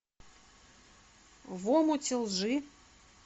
в омуте лжи